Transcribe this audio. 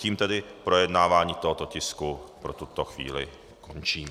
Tím tedy projednávání tohoto tisku pro tuto chvíli končím.